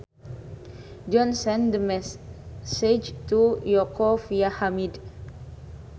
John sent the message to Yoko via Hamid